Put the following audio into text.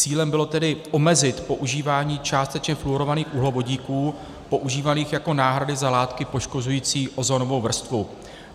Cílem bylo tedy omezit používání částečně fluorovaných uhlovodíků používaných jako náhrady za látky poškozující ozonovou vrstvu.